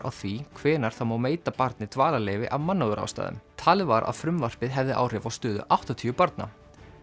á því hvenær það má veita barni dvalarleyfi af mannúðarástæðum talið var að frumvarpið hefði áhrif á stöðu áttatíu barna